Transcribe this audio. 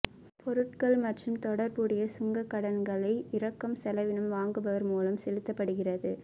பொருட்கள் மற்றும் தொடர்புடைய சுங்க கடன்களை இறக்கும் செலவினம் வாங்குபவர் மூலம் செலுத்தப்படுகிறது